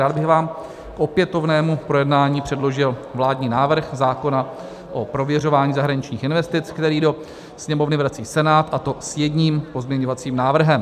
Rád bych vám k opětovnému projednání předložil vládní návrh zákona o prověřování zahraničních investic, který do Sněmovny vrací Senát, a to s jedním pozměňovacím návrhem.